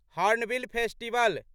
hornbill festival